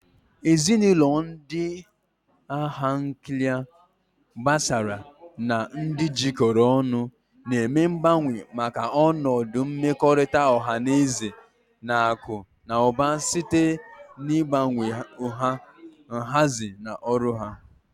Ezinụlọ ndị agha nuklia, gbasaara, na ndị jikọrọ ọnụ na-eme mgbanwe maka ọnọdụ mmekọrịta ọha na eze na akụ na ụba site n'ịgbanwe nha, nhazi, na ọrụ ha.